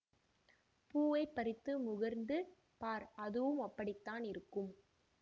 பூவைப் பறித்து முகர்ந்து பார் அதுவும் அப்படித்தான் இருக்கும்